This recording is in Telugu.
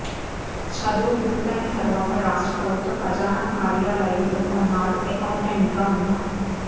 చదువు పూర్తయిన తర్వాత రాష్ట్ర ప్రభుత్వ ఖజానా కార్యాలయంలో కొన్నాళ్లు అకౌంటెంట్గా ఉన్నా